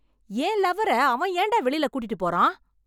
என் லவ்வர அவன் ஏண்டா வெளில கூட்டிட்டு போறான்?